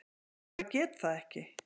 Ég bara get það ekki.